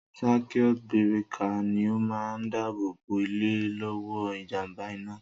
Sákíút bírékà ni o máa ń dáàbò bò ilé lọ́wọ́ ìjàmbá iná